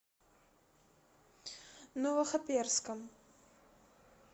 новохоперском